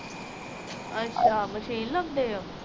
ਅੱਛਾ ਮਸ਼ੀਨ ਲਾਉਂਦੇ ਓ